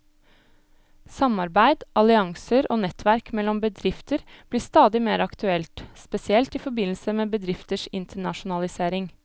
Samarbeid, allianser og nettverk mellom bedrifter blir stadig mer aktuelt, spesielt i forbindelse med bedrifters internasjonalisering.